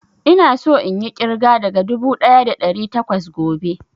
Ina so inyi ƙirga daga dubu ɗaya da ɗari takwas gobe